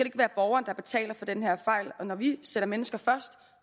ikke være borgeren der betaler for den her fejl når vi sætter mennesker først